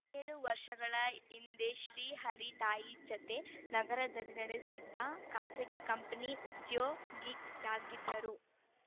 ಏಳು ವರ್ಷಗಳ ಹಿಂದೆ ಶ್ರೀ ಹರಿ ತಾಯಿ ಜತೆ ನಗರದಲ್ಲಿ ನೆಲೆಸಿದ್ದು ಖಾಸಗಿ ಕಂಪನಿ ಉದ್ಯೋ ಗಿಯಾಗಿದ್ದರು